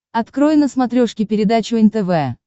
открой на смотрешке передачу нтв